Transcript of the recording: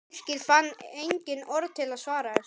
Birkir fann engin orð til að svara þessu.